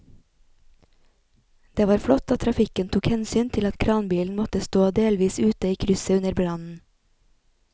Det var flott at trafikken tok hensyn til at kranbilen måtte stå delvis ute i krysset under brannen.